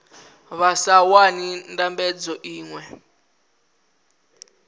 vha sa wani ndambedzo iṅwe